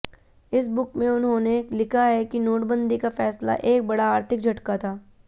इस बुक में उन्होंने लिखा है कि नोटबंदी का फैसला एक बड़ा आर्थिक झटका था